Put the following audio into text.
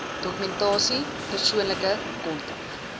dokumentasie persoonlike kontak